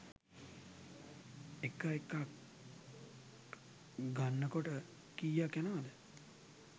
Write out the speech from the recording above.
එක එකක් ගන්නකොට කියක් යනවද?